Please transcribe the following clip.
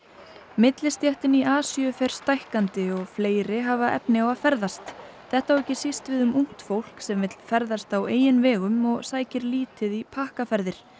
millistéttin í Asíu fer stækkandi og fleiri hafa efni á að ferðast þetta á ekki síst við um ungt fólk sem vill ferðast á eigin vegum og sækir lítið í pakkaferðir